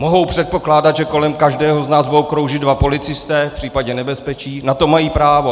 Mohou předpokládat, že kolem každého z nás budou kroužit dva policisté v případě nebezpečí, na to mají právo.